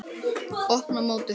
Mót: Opna mótið